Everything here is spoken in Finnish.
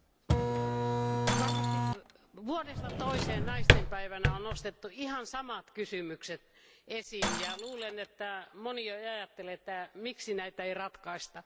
Arvoisa puhemies, varmasti vuodesta toiseen naisten päivänä on nostettu ihan samat kysymykset esiin. Luulen, että moni jo ajattelee, että miksi näitä ei ratkaista.